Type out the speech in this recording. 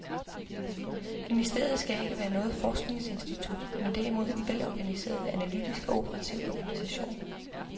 Ministeriet skal ikke være noget forskningsinstitut, men derimod en velorienteret, analytisk og operativ organisation.